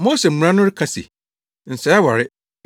“Mose mmara no ka se, ‘Nsɛe aware.’